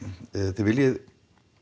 þið viljið